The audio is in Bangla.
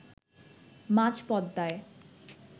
মাঝ পদ্মায়